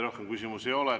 Rohkem küsimusi ei ole.